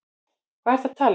Hvað ertu að tala um?